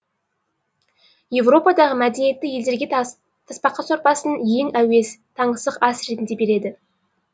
европадағы мәдениетті елдерге тасбақа сорпасын ең әуес таңсық ас ретінде береді